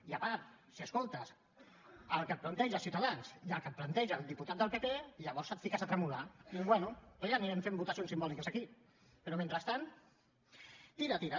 i a part si escoltes el que et planteja ciutadans i el que et planteja el diputat del pp llavors et fiques a tremolar i dius bé doncs ja anirem fent votacions simbòliques aquí però mentrestant tira tira